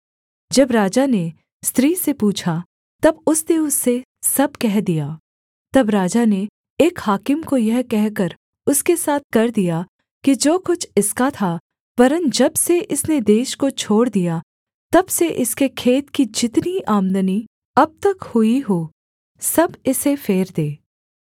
जब राजा ने स्त्री से पूछा तब उसने उससे सब कह दिया तब राजा ने एक हाकिम को यह कहकर उसके साथ कर दिया कि जो कुछ इसका था वरन् जब से इसने देश को छोड़ दिया तब से इसके खेत की जितनी आमदनी अब तक हुई हो सब इसे फेर दे